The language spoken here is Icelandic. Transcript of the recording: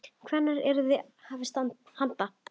Hvenær yrði hafist handa?